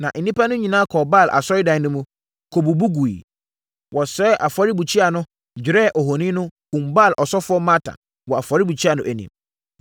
Na nnipa no nyinaa kɔɔ Baal asɔredan no mu, kɔbubu guiɛ. Wɔsɛee afɔrebukyia no, dwerɛɛ ohoni no, kumm Baal ɔsɔfoɔ Matan wɔ afɔrebukyia no anim.